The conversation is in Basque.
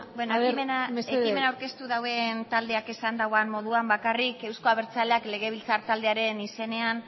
aber mesedez ekimena aurkeztu duen taldeak esan duen moduan bakarrik euzko abertzaleak legebiltzar taldearen izenean